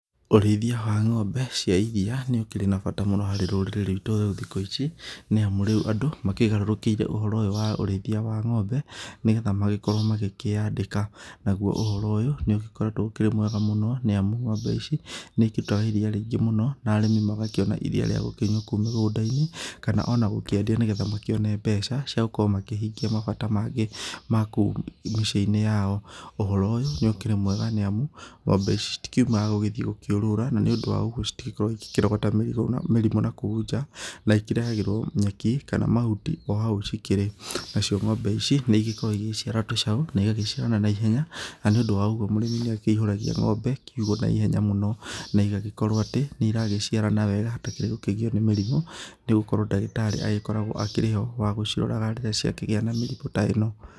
Ũrĩithia wa ngombe cia iria ũkĩrĩ na mbata mũno harĩ rũrĩri rwĩtũ rwa thikũ ici nĩamu rĩu andũ makĩgarũrũkĩire ũhoro ũyũ wa ũrĩithia wa ngombe nĩgetha makorwo makĩandĩka nagũo ũhoro ũyũ nĩ ũgĩkoretwo ũkĩrĩ mwega mũno nĩamu ngombe ici nĩ ikĩrutaga iria rĩingĩ mũno na arĩmi makona iria ria gũkĩnyua kũu mĩgũnda-inĩ kana ona gũkĩendia nĩgũo makĩone mbeca cia gũkorwo makĩhingia mabataro mangĩ makũu mĩciĩ-inĩ yao, ũhoro ũyũ ũkĩrĩ mwega nĩamu ngombe ici itikĩumaga gũthiĩ gũkĩurũra na nĩ ũndũ wa ũgũo citigĩkoragwo igĩkĩrogota mĩrimũ nakũu njaa na ikĩrehagĩrwo mahuti kana nyeki ohau cikĩrĩ, nacio ngombe ici nĩ igĩkoragwo igĩciara tũcaũ na igagĩciarana na ihenya na nĩ ũndũ wa ũgũo mũrĩmi nĩ akĩihũragia kiugo na ihenya mũno na igagĩkorwo atĩ nĩ iragĩciarana wega hatarĩ gũkĩgio nĩ mĩrimũ nĩamũ ndagĩtarĩ nĩ agĩkoragwo ho wa kũmũrora rĩrĩa ciakĩgĩa na mĩrimũ ta ĩno.